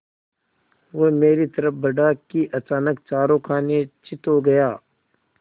वह मेरी तरफ़ बढ़ा कि अचानक चारों खाने चित्त हो गया